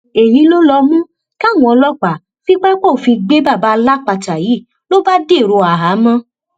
èyí ló ló mú káwọn ọlọpàá fi pápá òfin gbé bàbá alápatà yìí ló bá dèrò àhámọ